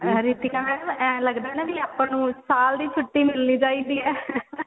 Ritika madam ਇਹ ਲੱਗਦਾ ਨਾ ਆਪਾਂ ਨੂੰ ਸਾਲ ਦੀ ਛੁੱਟੀ ਮਿਲਨੀ ਚਾਹੀਦੀ ਏ